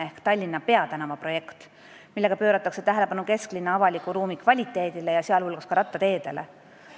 See on Tallinna peatänava projekt, millega pööratakse tähelepanu kesklinna avaliku ruumi kvaliteedile, sh rattateedele.